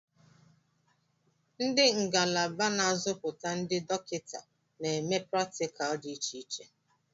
Ndị ngalaba n'azụputa ndị dọkịta na-eme pratikal dị iche iche.